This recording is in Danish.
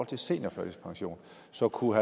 til seniorførtidspension så kunne